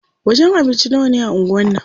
Wajen abinci nawane a anguwan nan?